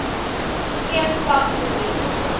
geen vangslimiet op